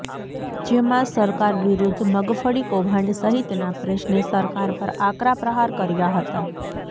જેમાં સરકાર વિરૃધ્ધ મગફળી કૌભાંડ સહિતના પ્રશ્ને સરકાર પર આકરા પ્રહાર કર્યા હતા